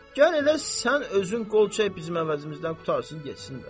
Gəl elə sən özün qol çək, bizim əvəzimizdən qurtarsın getsin də.